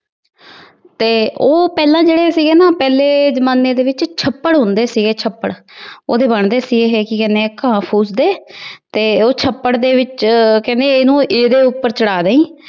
ਤੇ ਉਹ ਪਹਿਲਾ ਜੇੜੇ ਸੀਗੇ ਨਾ ਪਿਹਲੇ ਜ਼ਮਾਨੇ ਦੇ ਵਿੱਚ ਛੱਪੜ ਹੁੰਦੇ ਸੀਗੇ, ਛੱਪੜ। ਉਹਦੇ ਬਣਦੇ ਸੀ ਇਹ। ਕੀ ਕਹਿੰਦੇ ਘਾਹ ਫੂਸ ਦੇ। ਤੇ ਉਹ ਛੱਪੜ ਦੇ ਵਿੱਚ ਕਹਿੰਦੇ ਇਹਨੂੰ ਇਹਦੇ ਉੱਪਰ ਚੜਾ ਦਈ।